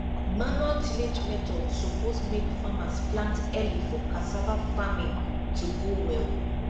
manual tillage method suppose make farmers plant early for cassava farming to go well